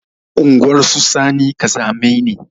Unguwar su sani ƙazamai ne